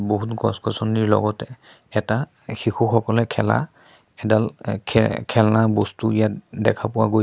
বহুত গছ গছনিৰ লগতে এটা শিশুসকলে খেলা এডাল খে খেলনা বস্তু ইয়াত দেখা পোৱা গৈছে।